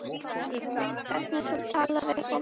Hvernig þú talar við fólk.